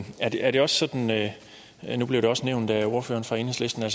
her nu blev det også nævnt af ordføreren fra enhedslisten at